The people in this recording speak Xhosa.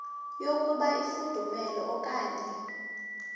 yokuba ifudumele okanye